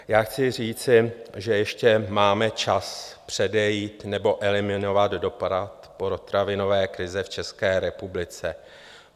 Já chci říci, že ještě máme čas předejít nebo eliminovat dopad potravinové krize v České republice.